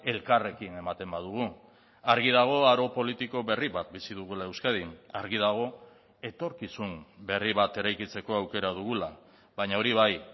elkarrekin ematen badugu argi dago aro politiko berri bat bizi dugula euskadin argi dago etorkizun berri bat eraikitzeko aukera dugula baina hori bai